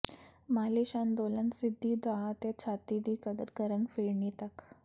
ਮਾਲਿਸ਼ ਅੰਦੋਲਨ ਸਿੱਧੀ ਦਾਅ ਅਤੇ ਛਾਤੀ ਦੀ ਕਦਰ ਕਰਨ ਫਿਰਨੀ ਤੱਕ